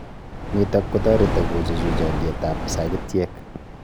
Nitok kotareti kochuchuch alyeet ab sagityek